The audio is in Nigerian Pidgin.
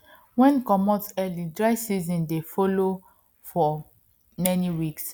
wen comot early dry seasons dey follow for many weeks